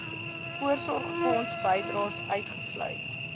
voorsorgfonds bydraes uitgesluit